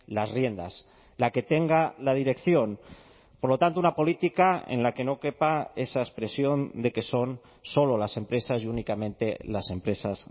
las riendas la que tenga la dirección por lo tanto una política en la que no quepa esa expresión de que son solo las empresas y únicamente las empresas